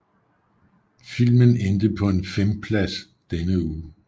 Filmen endte på en femplads denne uge